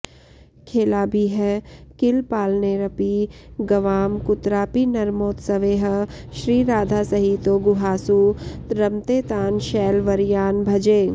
खेलाभिः किल पालनैरपि गवां कुत्रापि नर्मोत्सवैः श्रीराधासहितो गुहासु रमते तान् शैलवर्यान् भजे